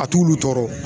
A t'olu tɔɔrɔ